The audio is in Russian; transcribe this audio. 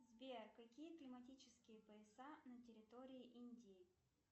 сбер какие климатические пояса на территории индии